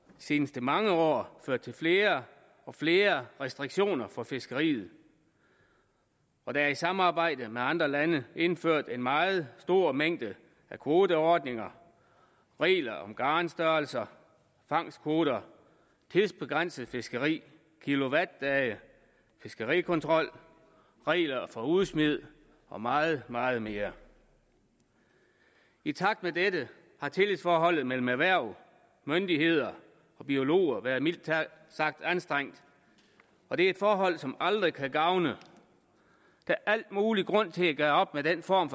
seneste mange år ført til flere og flere restriktioner for fiskeriet og der er i samarbejde med andre lande indført en meget stor mængde af kvoteordninger regler om garnstørrelser fangstkvoter tidsbegrænset fiskeri kilowattdage fiskerikontrol regler for udsmid og meget meget mere i takt med dette har tillidsforholdet mellem erhverv myndigheder og biologer været mildt sagt anstrengt og det er et forhold som aldrig kan gavne der er al mulig grund til at gøre op med den form